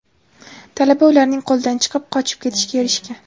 Talaba ularning qo‘lidan chiqib, qochib ketishga erishgan.